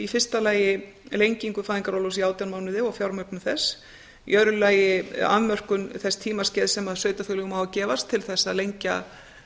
fyrsta lagi lengingu fæðingarorlofs í átján mánuði og fjármögnun þess í öðru lagi afmörkun þess tímaskeiðs sem sveitarfélögum á að gefast til þess að lengja